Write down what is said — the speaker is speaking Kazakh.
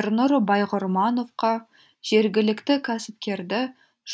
ернұр байғұрмановқа жергілікті кәсіпкерді